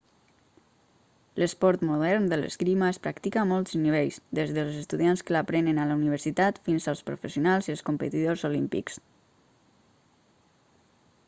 l'esport modern de l'esgrima es practica a molts nivells des dels estudiants que l'aprenen a la universitat fins als professionals i els competidors olímpics